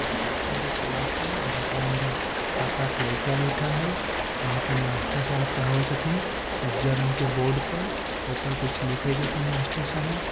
कुनु कोचिंग के क्लास हय जकरा अंदर सात-आठ लयका बैठल हय वहाँ पे मास्टर साहब पढ़ाबे छथिन उजर रंग के बोर्ड पर ओ पर कुछ लिखे छथिन मास्टर साहब।